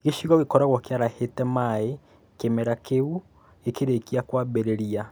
Gĩcigo gĩkoragwo kĩarahĩte maĩ kĩmera kĩu gĩkĩrĩkia kwambĩrĩria